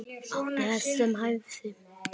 Átti hest sem hæfði.